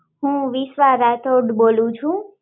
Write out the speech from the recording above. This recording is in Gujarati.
હું વિશ્વા રાઠોડ બોલું છું